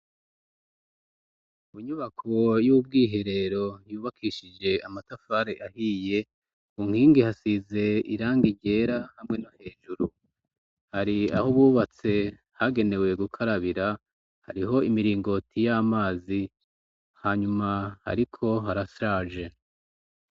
Munyubako y'ubwiherero yubakishije amatafare ahiye ku nkingi hasize iranga iryera hamwe no hejuru hari aho ububatse hagenewe gukarabira hariho imiringoti y'amazi hanyuma, ariko harashaje.